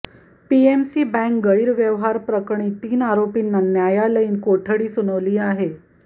PMC bank गैरव्यवहार प्रकरणी तीन आरोपींना न्यायालयीन कोठडी सुनावली आहे